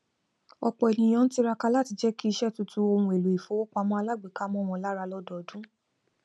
ọpọ ènìyàn ń tiraka láti jẹ kí iṣẹ tuntun ohun èlò ìfowópamọ alágbèéká mọ wọn lára lọdọọdun